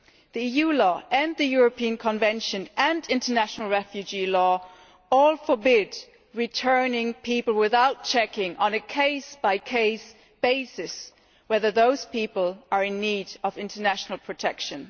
The EU law and the European Convention and international refugee law all forbid returning people without checking, on a case by case basis, whether those people are in need of international protection.